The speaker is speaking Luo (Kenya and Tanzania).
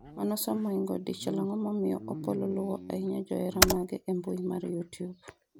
manosom moingo dichiel ang'o momiyo Opollo luwo ahinya johera mage e mbui mar youtube?